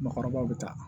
Mɔɔkɔrɔbaw bɛ taa